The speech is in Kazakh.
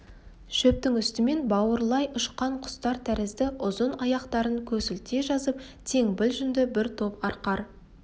шөптің үстімен бауырлай ұшқан құстар тәрізді ұзын аяқтарын көсілте жазып теңбіл жүнді бір топ арқар